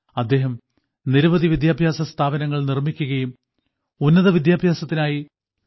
അദ്ദേഹം നിരവധി വിദ്യാഭ്യാസസ്ഥാപനങ്ങൾ നിർമ്മിക്കുകയും ഉന്നതവിദ്യാഭ്യാസത്തിനായി ഡോ